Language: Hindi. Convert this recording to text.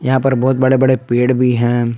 यहां पर बहुत बड़े बड़े पेड़ भी हैं।